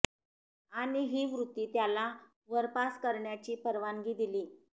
आणि ही वृत्ती त्याला वर पास करण्याची परवानगी दिली